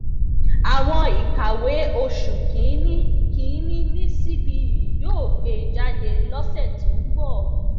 àwọn ìkàwé oṣù kínní kínní ni cbe yóò gbé jáde lọsẹ tó ń bọ